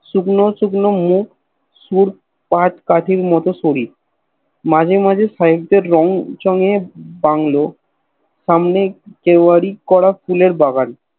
শুকনো শুকনো মুখ সরু কাঠ কাঠির মত শরীর মাঝে মাঝে সেব দের রঙ চঙে বাংলো সামনে দেবারি করা ফুলের বাগান